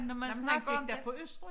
Når man snakker om det